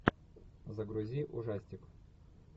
загрузи ужастик